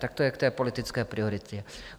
Tak to je k té politické prioritě.